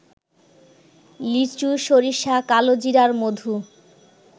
লিচু, সরিষা, কালোজিরার মধু